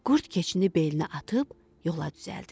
Qurd keçini belinə atıb yola düzəldi.